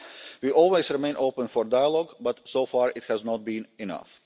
We always remain open to dialogue but, so far, it has not been